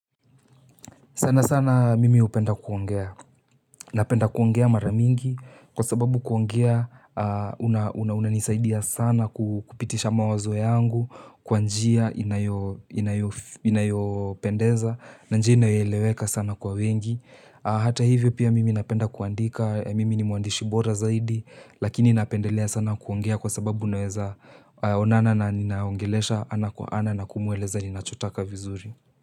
Sana sana mimi hupenda kuongea, napenda kuongea maramingi, kwa sababu kuongea hunanisaidia sana kupitisha mawazo yangu, kwa njia inayopendeza, na njia inayoeleweka sana kwa wengi. Hata hivyo pia mimi napenda kuandika, mimi ni mwandishi bora zaidi, lakini napendelea sana kuongea kwa sababu naweza onana na ninayeongelesha, ana kwa ana nakumueleza ni nachotaka vizuri.